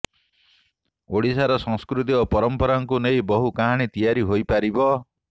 ଓଡ଼ିଶାର ସଂସ୍କୃତି ଓ ପରମ୍ପରାକୁ ନେଇ ବହୁ କାହାଣୀ ତିଆରି ହୋଇପାରିବ